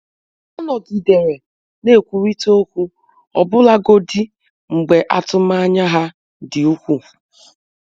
Ọ nọgidere na-ekwurịta okwu, ọbụlagodi mgbe atụmanya ha dị ukwuu.